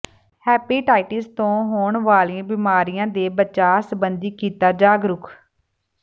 hepatitis ਤੋਂ ਹੋਣ ਵਾਲੀਆਂ ਬਿਮਾਰੀਆਂ ਦੇ ਬਚਾਅ ਸਬੰਧੀ ਕੀਤਾ ਜਾਗਰੂਕ